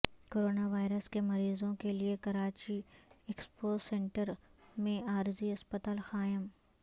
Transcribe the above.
corona virus کے مریضوں کے لیے کراچی ایکسپو سینٹر میں عارضی اسپتال قائم